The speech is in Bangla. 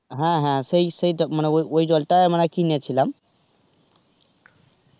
হ্যাঁ হ্যাঁ সেই সেইটা মানে ওই জলটা মানে কিনেছিলাম.